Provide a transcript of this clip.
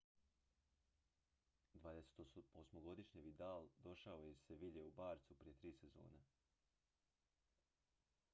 28-godišnji vidal došao je iz seville u barçu prije tri sezone